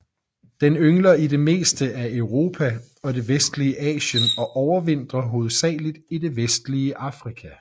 Den yngler i det meste af Europa og det vestlige Asien og overvintrer hovedsageligt i det vestlige Afrika